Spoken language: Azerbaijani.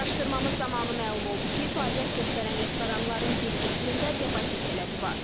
Araşdırmamız zamanı məlum oldu ki, fəaliyyət göstərən restoranların bir qismində depozit tələbi var.